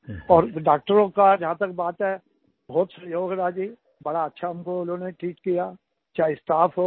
और डॉक्टरों का जहां तक बात है बहुत सहयोग रहा जी बड़ा अच्छा उन्होंने हमको ट्रीट किया चाहे वो स्टाफ हो